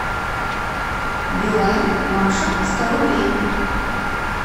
билайн маша сто рублей